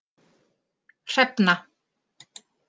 Hrefna